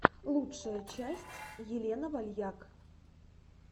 лучшая часть елена вальяк